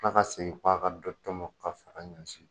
K' ka segin'a ka dɔ kɛmɔ ka fara ɲɛsin.